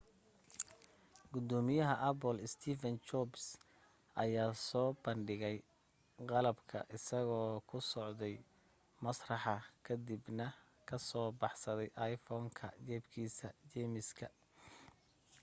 gudoomiyaha apple steve jobs ayaa soo bandhigay qalabka isagoo ku socday masraxa ka dibna ka soo baxsaday iphone-ka jeebkiisa jiiniska